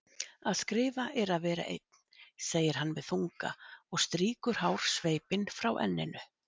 Að skrifa er að vera einn, segir hann með þunga og strýkur hársveipinn frá enninu.